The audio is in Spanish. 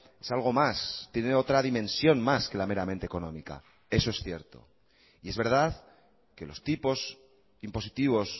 es algo más tiene otra dimensión más que la meramente económica eso es cierto y es verdad que los tipos impositivos